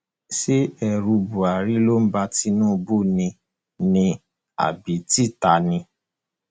ṣé ẹrù buhari ló ń ba tinubu ni ni àbí títa ni